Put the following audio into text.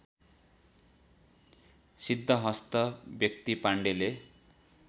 सिद्धहस्त व्यक्ति पाण्डेले